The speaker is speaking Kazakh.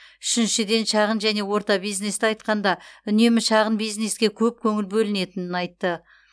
үшіншіден шағын және орта бизнесті айтқанда үнемі шағын бизнеске көп көңіл бөлінетінін айтты